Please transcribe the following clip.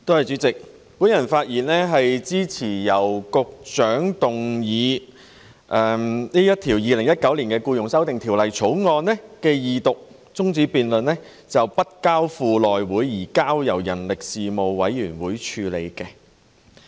主席，我發言支持局長動議的議案，將《2019年僱傭條例草案》的二讀辯論中止待續，並交付人力事務委員會而非內務委員會處理。